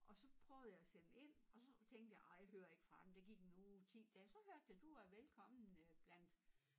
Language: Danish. Og så prøvede jeg at sende ind og så tænkte ah jeg hører ikke fra dem der gik en uge 10 dage så hørte jeg du er velkommen øh blandt